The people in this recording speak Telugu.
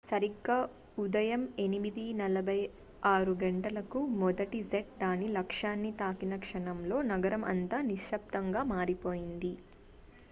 సరిగ్గా ఉదయం 8:46 గంటలకు మొదటి జెట్ దాని లక్ష్యాన్ని తాకిన క్షణంలో నగరం అంతా నిశబ్దంగా మారిపోయింది